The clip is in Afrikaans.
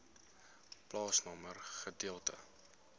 plaasnommer gedeelte